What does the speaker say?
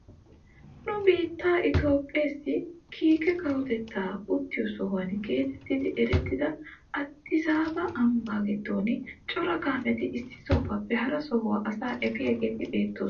Nu biittee itoophphessi kiike kawotettaa uttiyoo sohuwaa getettidi erettiyaa adisaaba ambbaa giddon cora kaameti issi sohuwaappe hara sohuwaa asaa afiyaageti beettoosona.